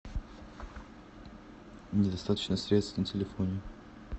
недостаточно средств на телефоне